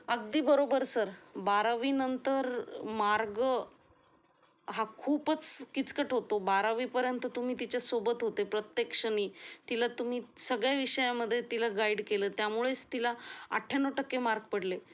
अगदी बरोबर सर. बारावी नंतर मार्ग हा खूपच किचकट होतो बारावी पर्यंत तुम्ही तिच्या सोबत होते प्रत्येक क्षणी तिला तुम्ही सगळ्या विषयामध्ये तिला गाइड केले त्यामुळेच तिला अठ्ठ्याण्णव टक्के मार्क पडले